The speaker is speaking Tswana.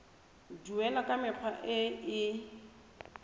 duelwa ka mekgwa e e